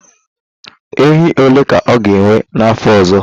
Ehi ole ka ọ ga-enwe na afọ ọzọ?